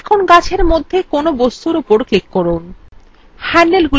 এখন গাছএর মধ্যে কোনো বস্তুর উপর click করুন